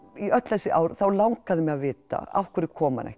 í öll þessi ár þá langaði mig að vita af hverju kom hann ekki